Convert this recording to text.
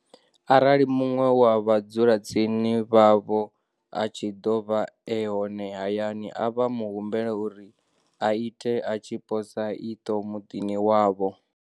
Arali muṅwe wa vha dzulatsini vhavho a tshi ḓo vha e hone hayani, vha mu humbele uri a ite a tshi posa iṱo muḓini wavho.